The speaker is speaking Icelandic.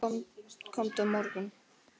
Komdu á morgun.